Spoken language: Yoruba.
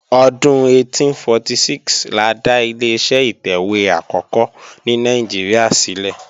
Ọdún 1846 la dá Ileṣẹ́ ìtẹ̀wé àkọ́kọ́ ní Nàìjíríà ṣílẹ̀